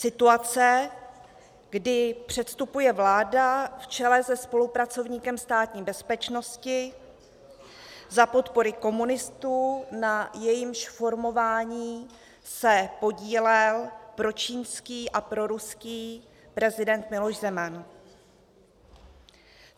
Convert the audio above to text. Situace, kdy předstupuje vláda v čele se spolupracovníkem Státní bezpečnosti za podpory komunistů, na jejímž formování se podílel pročínský a proruský prezident Miloš Zeman.